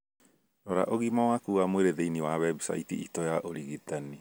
Rora ũgima waku wa mwĩrĩ thĩinĩ wa website itũ ya ũrigitani